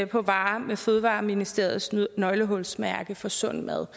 på varer med fødevareministeriets nøglehulsmærke for sund mad